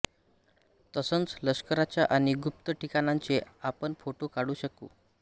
तसंच लष्कराच्या आणि गुप्त ठिकाणांचे आपण फोटो काढू शकू